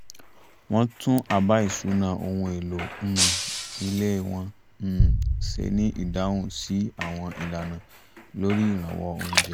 wọ́n tún àbá ìṣúná ohun èlò um ilé wọn um ṣe ní ìdáhùn sí àwọn ìlànà lórí ìrànwọ́ oúnjẹ